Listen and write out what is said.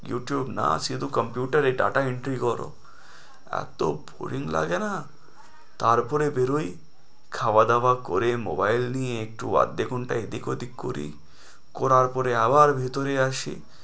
YouTube না, শুধু computer এ data entry করো, এতো boring লাগে না, তারপরে বেরোই খাওয়া-দাওয়া করে mobile নিয়ে একটু আধা ঘন্টা এদিক-ওদিক করি করার পরে আবার ভিতরে আসি।